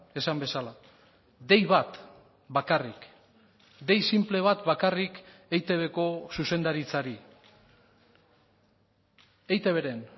esan bezala dei bat bakarrik dei sinple bat bakarrik eitbko zuzendaritzari eitbren